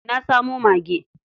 Na samo mage.